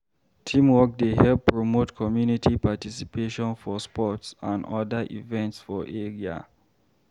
Teamwork dey help promote community participation for sports and oda events for area.